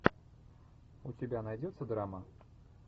у тебя найдется драма